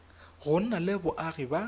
go nna le boagi ba